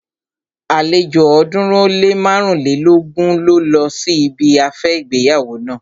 Àlejò ọ̀ọ́dúnrún ó lé márùnlélógún ló lọ sí ibi afẹ́ ìgbéyàwó naa